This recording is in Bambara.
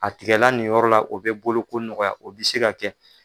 A tigala nin yɔrɔ la, o be bolo ko nɔgɔya o be se ka kɛ.